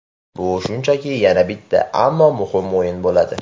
Bu shunchaki yana bitta, ammo muhim o‘yin bo‘ladi.